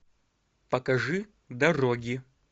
покажи дороги